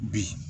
Bi